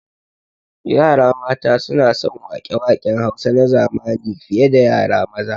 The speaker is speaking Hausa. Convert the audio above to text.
Yara mata suna son waƙe waƙen Hausa na zamani fi ye da yara maza